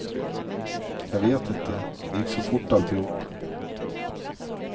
Jag vet inte, det gick så fort alltihop.